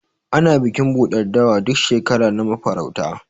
Ana Bikin ɓuɗar dawa, duk shekara na mafarauta.